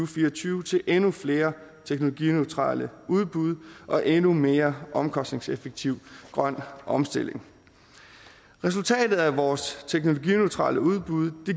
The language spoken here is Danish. fire og tyve til endnu flere teknologineutrale udbud og en endnu mere omkostningseffektiv grøn omstilling resultatet af vores teknologineutrale udbud